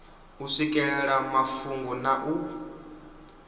u swikelela mafhungo na u